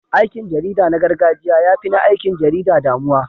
Aikin jarida na gargajiya ya fi na aikin jarida damuwa.